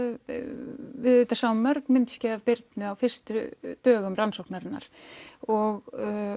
við auðvitað sáum mörg myndskeið af Birnu á fyrstu dögum rannsóknarinnar og